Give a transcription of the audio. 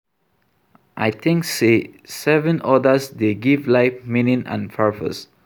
I think say serving others dey give life meaning and purpose.